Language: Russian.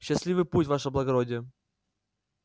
счастливый путь ваше благородие